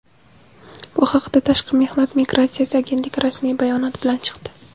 Bu haqda Tashqi mehnat migratsiyasi agentligi rasmiy bayonot bilan chiqdi.